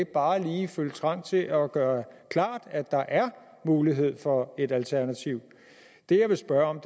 bare lige trang til at gøre det klart at der er mulighed for et alternativ det jeg vil spørge om